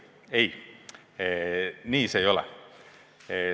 Ei, nii see ei ole.